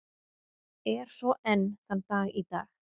Er svo enn þann dag í dag.